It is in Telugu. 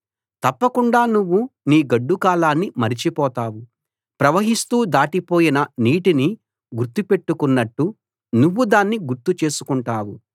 తప్పకుండా నువ్వు నీ గడ్డుకాలాన్ని మరచిపోతావు ప్రవహిస్తూ దాటిపోయిన నీటిని గుర్తు పెట్టుకున్నట్టు నువ్వు దాన్ని గుర్తు చేసుకుంటావు